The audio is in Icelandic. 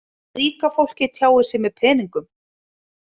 Ríka fólkið tjáir sig með peningum.